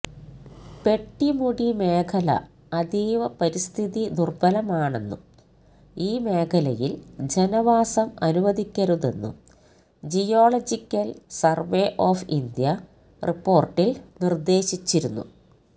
പെട്ടിമുടി മേഖല അതീവ പരിസ്ഥിതി ദുര്ബലമാണെന്നും ഈ മേഖലയില് ജനവാസം അനുവദിക്കരുതെന്നും ജിയോളജിക്കല് സര്വേ ഓഫ് ഇന്ത്യ റിപ്പോര്ട്ടില് നിര്ദ്ദേശിച്ചിരുന്നു